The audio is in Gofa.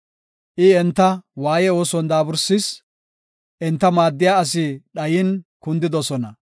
I enta waaye ooson daaburisis; enta maaddiya asi dhayin kundidosona;